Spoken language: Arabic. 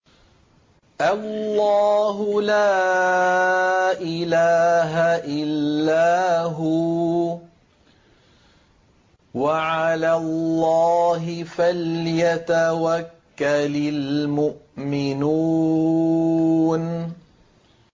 اللَّهُ لَا إِلَٰهَ إِلَّا هُوَ ۚ وَعَلَى اللَّهِ فَلْيَتَوَكَّلِ الْمُؤْمِنُونَ